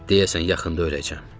Deyəsən, yaxında öləcəm.